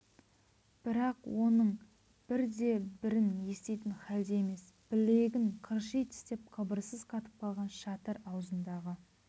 бірақ оның бір де бірін еститін халде емес білегін қырши тістеп қыбырсыз қатып қалған шатыр аузындағы